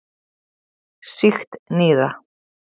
Sýkt nýra.